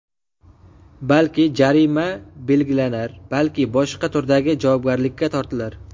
Balki, jarima belgilanar, balki boshqa turdagi javobgarlikka tortilar.